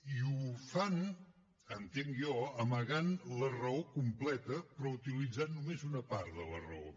i ho fan entenc jo amagant la raó completa i utilitzant només una part de la raó